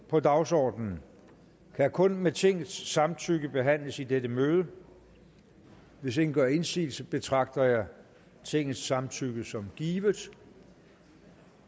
på dagsordenen kan kun med tingets samtykke behandles i dette møde hvis ingen gør indsigelse betragter jeg tingets samtykke som givet